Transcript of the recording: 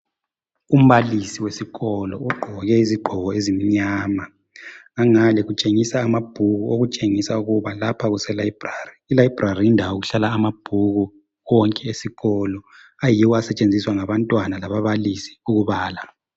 Umbalisi wesikolo ugqoke izigqoko ezimnyama ngangale kutshengisa amabhuku okutshengisa ukuba lapha kuselayibhrari, ilayibhrari yindawo okuhlala amabhuku wonke esikolo ayiwo asetshenziswa ngabantwana lababalisi ukubala.